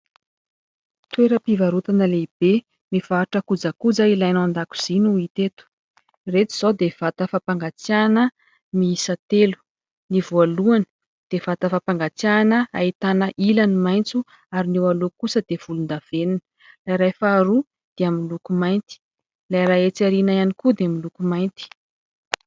Toeram-pivarotana lehibe mivarotra kojakoja ilaina ao an-dakozia no hita eto. Ireto izao dia vata fampangatsiahana miisa telo : ny voalohany dia vata fampangatsiahana ahitana ilany maitso ary ny ilany kosa dia volon-davenona ; ilay iray faharoa dia miloko mainty ; ilay iray etsy aoriana ihany koa dia miloko mainty.